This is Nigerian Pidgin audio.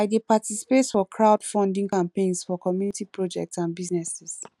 i dey participate for crowdfunding campaigns for community projects and businesses